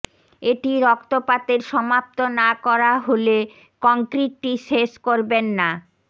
এটি রক্তপাতের সমাপ্ত না করা হলে কংক্রিটটি শেষ করবেন না